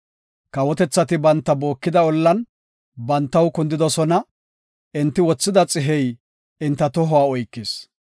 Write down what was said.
Kawotethati banta bookida ollan bantaw kundidosona; enti wothida xihey enta tohuwa oykis.